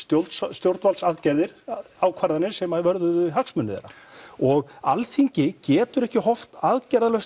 stjórnvaldsaðgerðir ákvarðanir sem vörðuðu hagsmuni þeirra og Alþingi getur ekki horft aðgerðalaust